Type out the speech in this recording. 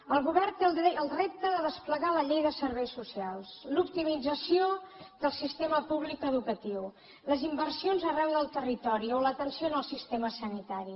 el govern té el repte de desplegar la llei de serveis so cials l’optimització del sistema públic educatiu les inversions arreu del territori o l’atenció en el sistema sanitari